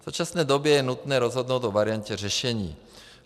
V současné době je nutné rozhodnout o variantě řešení.